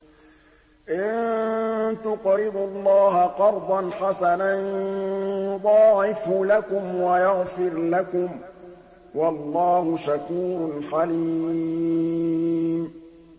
إِن تُقْرِضُوا اللَّهَ قَرْضًا حَسَنًا يُضَاعِفْهُ لَكُمْ وَيَغْفِرْ لَكُمْ ۚ وَاللَّهُ شَكُورٌ حَلِيمٌ